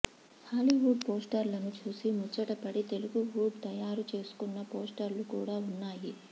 Hollywood పోస్టర్లను చూసి ముచ్చటపడి తెలుగువుడ్ తయారు చేసుకున్న పోస్టర్లు కూడా ఉన్నాయి